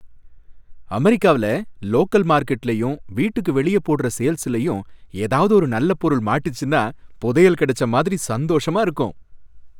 அமெரிக்காவுல லோக்கல் மார்க்கெட்லயும், வீட்டுக்கு வெளியே போடுற சேல்லயும் ஏதாவது ஒரு நல்ல பொருள் மாட்டுச்சின்னா புதையல் கிடைச்ச மாதிரி சந்தோஷமா இருக்கும்.